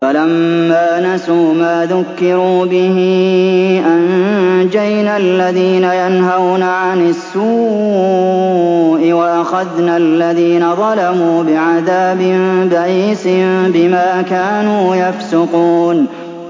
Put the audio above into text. فَلَمَّا نَسُوا مَا ذُكِّرُوا بِهِ أَنجَيْنَا الَّذِينَ يَنْهَوْنَ عَنِ السُّوءِ وَأَخَذْنَا الَّذِينَ ظَلَمُوا بِعَذَابٍ بَئِيسٍ بِمَا كَانُوا يَفْسُقُونَ